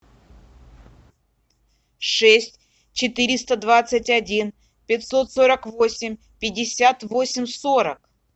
шесть четыреста двадцать один пятьсот сорок восемь пятьдесят восемь сорок